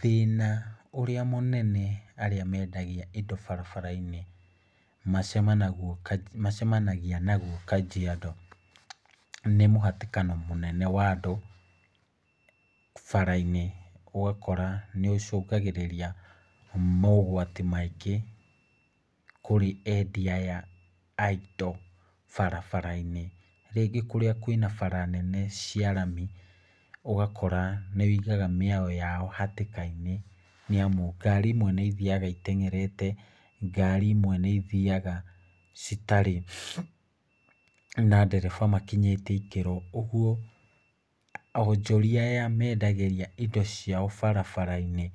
Thĩna ũrĩa mũnene arĩa mendagia indo barabara-inĩ macemanagia naguo Kajiado nĩ mũhatĩkano mũnene wa andũ bara-inĩ. Ũgakora nĩ ũcũngagĩrĩria mogwati maingĩ kũrĩ endia aya a indo barabara-inĩ. Rĩngĩ kũrĩa kwĩna bara nene cia rami ũgakora nĩ ũigaga mĩoyo yao hatĩka-inĩ nĩ amu ngari imwe nĩ ithiaga itengerete, ngari imwe nĩ ithiaga citarĩ na ndereba makinyĩtie ikĩro. Ũguo onjoria aya mendagĩrĩa indo ciao barabara-inĩ